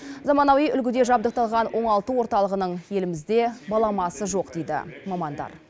заманауи үлгіде жабдықталған оңалту орталығының елімізде баламасы жоқ дейді мамандар